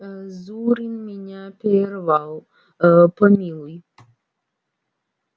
ээ зурин меня прервал ээ помилуй